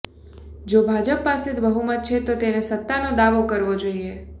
જો ભાજપ પાસે બહુમત છે તો તેને સત્તાનો દાવો કરવો જોઇએ